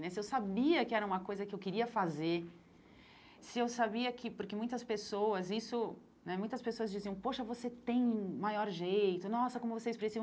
né Se eu sabia que era uma coisa que eu queria fazer, se eu sabia que... Porque muitas pessoas isso né muitas pessoas diziam, poxa, você tem um maior jeito, nossa, como você é expressiva.